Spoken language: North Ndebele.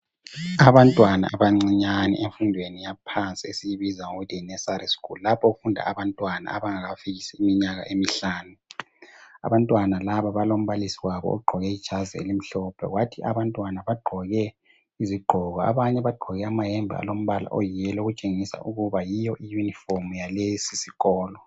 Abantwana abancinyane emfundweni yaphansi esiyibiza ngokuthi yi Nursery School lapho okufunda abantwana abangakafikisi iminyaka emihlanu. Abantwana laba balombalisi wabo ogqoke ijazi elimhlophe kwathi abantwana bagqoke izigqoko abanye bagqoke amahembe ayi yellow okutshengisela ukuba yiyo i uniform ya leso sikolo.